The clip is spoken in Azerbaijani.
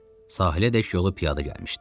Sahilədək yolu piyada gəlmişdi.